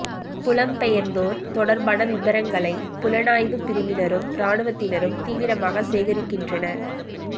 புலம் பெயர்ந்தோர் தொடர்பான விபரங்களை புலனாய்வுப் பிரிவினரும் இராணுவத்தினரும் தீவிரமாக சேகரிக்கின்றனர்